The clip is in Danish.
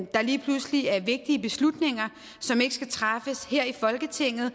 der lige pludselig er vigtige beslutninger som ikke skal træffes her i folketinget